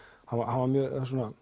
hann var mjög